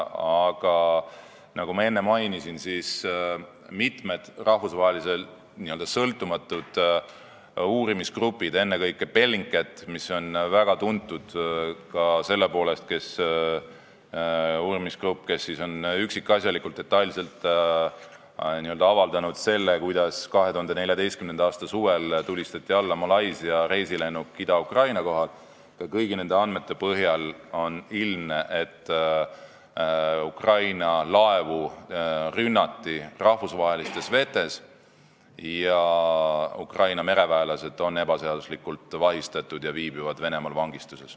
Aga nagu ma enne mainisin, mitme sõltumatu rahvusvahelise uurimisgrupi, ennekõike Bellingcati andmete põhjal on ilmne, et Ukraina laevu rünnati rahvusvahelistes vetes, Ukraina mereväelased on ebaseaduslikult vahistatud ja viibivad Venemaal vangistuses.